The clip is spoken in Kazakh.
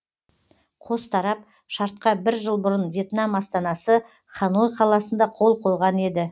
қос тарап шартқа бір жыл бұрын вьетнам астанасы ханой қаласында қол қойған еді